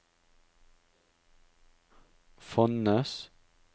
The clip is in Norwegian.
Fonnes